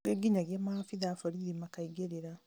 kũngĩ nginyagia maabithaa a borithi makaingĩrĩra